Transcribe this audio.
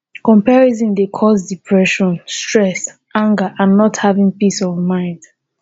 comparison dey cause depression stress anger and not having peace of mind.